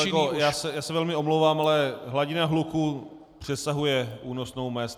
Pane kolego, já se velmi omlouvám, ale hladina hluku přesahuje únosnou mez.